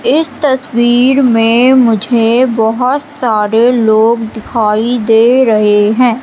इस तस्वीर में मुझे बहोत सारे लोग दिखाई दे रहे हैं।